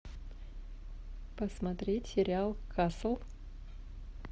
посмотреть сериал касл